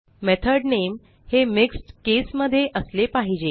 method नामे हे mixed caseमध्ये असले पाहिजे